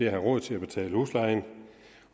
have råd til at betale huslejen